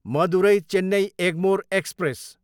Madurai, Chennai Egmore express